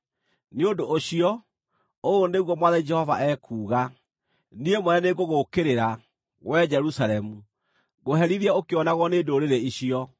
“Nĩ ũndũ ũcio, ũũ nĩguo Mwathani Jehova ekuuga: Niĩ mwene nĩngũgũũkĩrĩra, wee Jerusalemu, ngũherithie ũkĩonagwo nĩ ndũrĩrĩ icio.